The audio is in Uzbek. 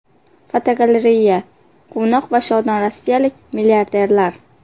Fotogalereya: Quvnoq va shodon rossiyalik milliarderlar.